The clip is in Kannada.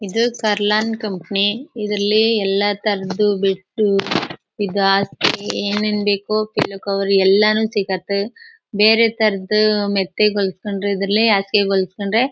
ಇದು ಕಾರ್ಲೊನ್ ಕಂಪನಿ ಇದ್ರಲ್ಲಿ ಎಲ್ಲ ತರಹದ್ ಬೆಡ್ ಈದ್ ಹಾಸ್ಗೆ ಏನ್ ಏನ್ ಬೇಕೋ ಪಿಲ್ಲೋ ಕವರ್ ಎಲ್ಲಾನು ಸಿಗತ್ತೆ. ಬೇರೆ ತರಹದ್ ಮೆತ್ತಗ್ ಹೊಲ್ಸ್ಕೊಂಡ್ರೆ ಇದ್ರಲ್ಲಿ ಹಾಸಿಗೆ ಹೊಲ್ಸ್ಕೊಂಡ್ರೆ--